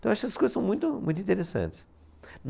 Então eu acho que essas coisas são muito, muito interessantes.